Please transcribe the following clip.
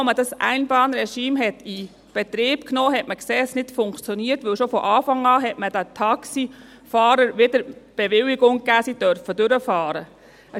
Als man das Einbahnregime in Betrieb nahm, sah man schon, dass es nicht funktioniert, da man den Taxifahrern schon von Anfang an wieder die Bewilligung gab, dass sie durchfahren dürfen.